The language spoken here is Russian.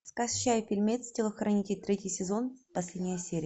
скачай фильмец телохранитель третий сезон последняя серия